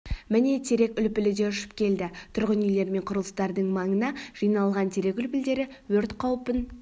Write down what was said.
міне терек үлпілі де ұшып келді тұрғын үйлер мен құрылыстардың маңына жиналған терек үлпілдері өрт қауіпін